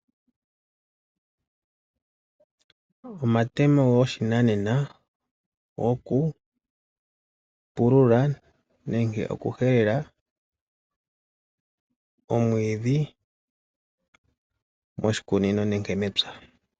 Omatemo goshinanena gokupulula nenge okuhelela omwiidhi moshikunino nenge mepya.